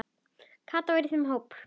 Kata var í þeim hópi.